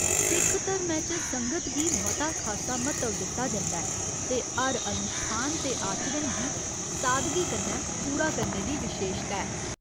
सिख धरमै च 'संगत' गी मता खासा म्हत्तव दित्ता जंदा ऐ ते हर अनुश्ठान ते आचरण गी सादगी कन्नै पूरा करने दी विशेशता ऐ।